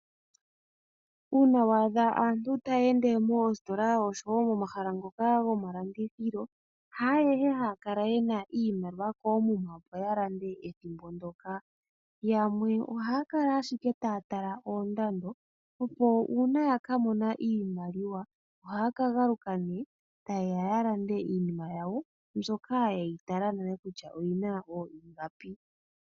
Uuna wa adha aantu taya ende moositola noshowo momahala ngoka gomalandithilo haayehe haya kala ye na iimaliwa koomuma, opo ya lande ethimbo ndyoka. Yamwe ohaya kala ashike taya tala oondando, opo uuna ya ka mona iimaliwa ohaya ka galuka nduno taye ya ya lande iinima yawo mbyoka ye yi tala nale kutya oyi na ooingapi.